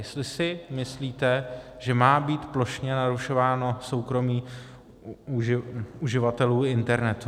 Jestli si myslíte, že má být plošně narušováno soukromí uživatelů internetu.